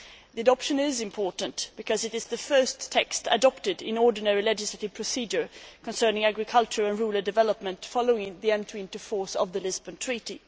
The adoption is important because it is the first text adopted in the ordinary legislative procedure concerning agriculture and rural development following the entry into force of the Lisbon Treaty.